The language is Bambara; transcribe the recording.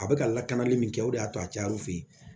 A bɛ ka lakanali min kɛ o de y'a to a cayara u fɛ yen